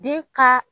Den ka